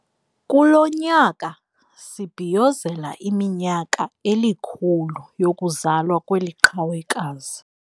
Kulo nyaka sibhiyozela iminyaka elikhulu yokuzalwa kweli qhawekazi.